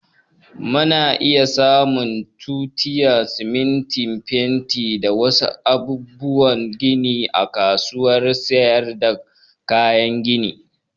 Mu na iya samun tutiya, siminti, fenti da wa su abubuwan gini a kasuwar sayar da kayan gini